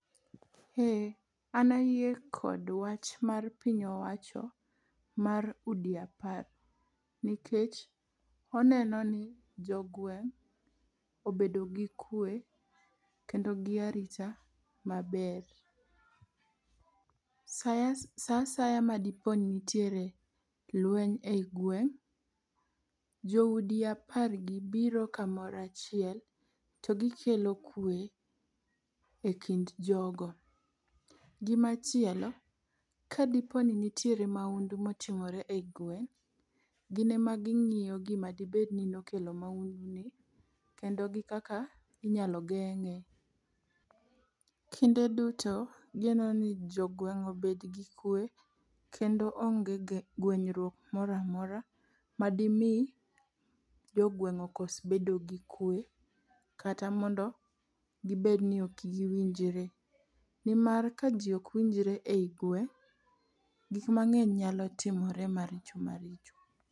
Eh, an ayie kod wach mar piny owacho mar udi apar, nikech oneno ni jogweng' obedo gi kwe kendo gi arita maber. Sa asaya ma diponi nitiere lweny e i gweng', joudi apargi biro kamoro achiel to gikelo kwe e kind jogo. Gimachielo, kadiponi nitiere maundu motimore e i gweng', gin ema ging'iyo gima dibedni nokelo maunduni kendo gi kaka inyalo geng'e. Kinde duto gineno ni jogweng' obedgi kwe kendo onge gwenyruok moro amora ma dimi jogweng' okos bedo gi kwe kata mondo gibed ni ok giwinjre. Nimar ka ji okwinjre e i gweng', gik mang'eny nyalo timore maricho maricho.